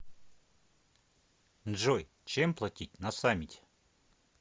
джой чем платить на самете